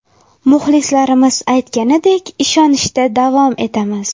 Muxlislarimiz aytganidek, ishonishda davom etamiz.